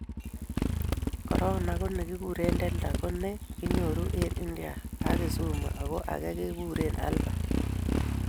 Korona ko ne kikuren Delta ko ne kinyoru eng' India ak Kisumu, ko age kikuren Alpha